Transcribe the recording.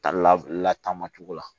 Ta lataama cogo la